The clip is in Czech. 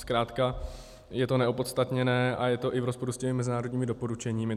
Zkrátka je to neopodstatněné a je to i v rozporu s těmi mezinárodními doporučeními.